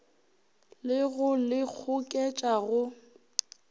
le go le goketša go